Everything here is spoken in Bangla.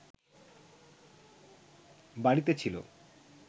বাড়িতে ছিল